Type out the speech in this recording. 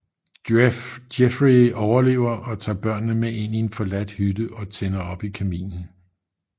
Jeffrey overlever og tager børnene med ind i en forladt hytte og tænder op i kaminen